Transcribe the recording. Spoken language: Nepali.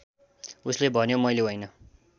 उसले भन्यो मैले होइन